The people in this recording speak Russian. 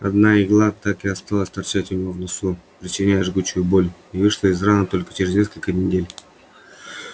одна игла так и осталась торчать у него в носу причиняя жгучую боль и вышла из раны только через несколько недель